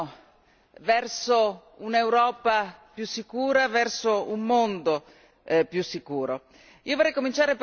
nel cammino verso un'Europa più sicura, verso un mondo più sicuro.